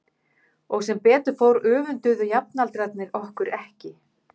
Og sem betur fór öfunduðu jafnaldrarnir okkur ekki.